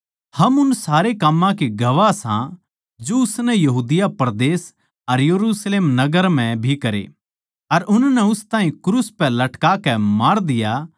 हम उन सारे काम्मां के गवाह सां जो उसनै यहूदिया परदेस अर यरुशलेम नगर म्ह भी करे अर उननै उस ताहीं क्रूस पै लटकाकै मार दिया